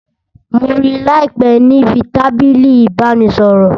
Mo rí láìpé níbi tábìlì ìbánisọ̀rọ̀